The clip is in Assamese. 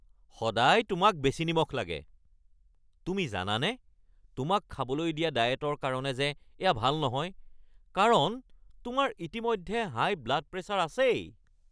সদায় তোমাক বেছি নিমখ লাগে! তুমি জানানে তোমাক খাবলৈ দিয়া ডায়েটৰ কাৰণে যে এয়া ভাল নহয় কাৰণ তোমাৰ ইতিমধ্যে হাই ব্লাড প্ৰেছাৰ আছেই।